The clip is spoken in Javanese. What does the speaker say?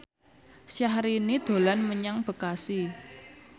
Syahrini dolan menyang Bekasi